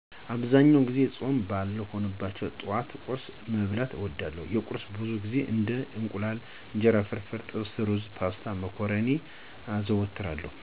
አብዛኛውን ጊዜ ፆም ባልሆኑባቸው ጠዋቶች ቁርስ መብላትን እወዳለሁ። ለቁርስም ብዙውን ጊዜ እንደ የእንቁላል አና እንጀራ ፍርፍር፣ ጥብስ፣ ሩዝ፣ ፓስታ፣ እና መኮረኒ አዘወትራለሁ።